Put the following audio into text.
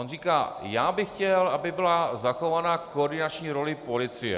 On říká: já bych chtěl, aby byla zachována koordinační role policie.